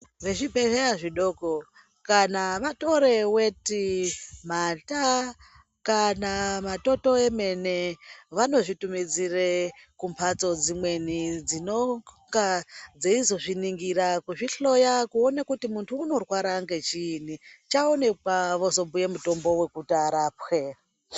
Vezvibhedhleya zvidoko kana vatore weti mata kana matoto emene vanozvitumidzire kumhatso dzimweni dzinonga dzeizozviningira kuzvihloya kuone kuti muntu unorwara ngechiininchaonekwa vozobhuye mutombo wekuti arapwe.